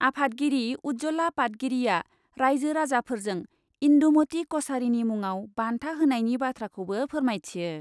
आफादगिरि उज्जला पातगिरीआ राइजो राजाफोरजों इन्दुमती कछारीनि मुङाव बान्था होनायनि बाथ्राखौबो फोरमायथियो।